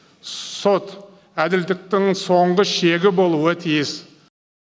сот әділдіктің соңғы шегі болуы тиіс